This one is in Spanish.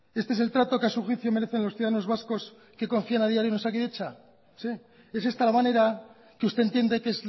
este es el trato que a su juicio merecen los ciudadanos vascos que confían a diario en osakidetza es esta la manera que usted entiende que es